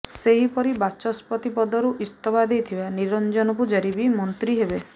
ସେହିପରି ବାଚସ୍ପତି ପଦରୁ ଇସ୍ତଫା ଦେଇଥିବା ନିରଂଜନ ପୂଜାରୀ ବି ମନ୍ତ୍ରୀ ହେବେ